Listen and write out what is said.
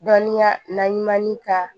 Dɔnniya na ni ka